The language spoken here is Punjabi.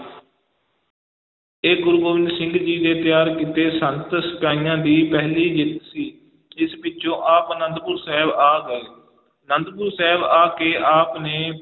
ਇਹ ਗੁਰੂ ਗੋਬਿੰਦ ਸਿੰਘ ਜੀ ਦੇ ਤਿਆਰ ਕੀਤੇ ਸੰਤ ਸਿਪਾਹੀਆਂ ਦੀ ਪਹਿਲੀ ਜਿੱਤ ਸੀ, ਇਸ ਪਿੱਛੋਂ ਆਪ ਆਨੰਦਪੁਰ ਸਾਹਿਬ ਆ ਗਏ ਆਨੰਦਪੁਰ ਸਾਹਿਬ ਆ ਕੇ ਆਪ ਨੇ